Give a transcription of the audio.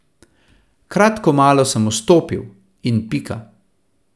Kratko malo sem vstopil, in pika.